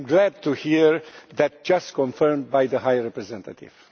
I am glad to hear that just confirmed by the High Representative.